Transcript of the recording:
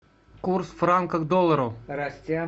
курс франка к доллару